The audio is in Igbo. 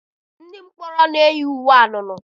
Ndị mkpọrọ na-eyi uwe anunuu.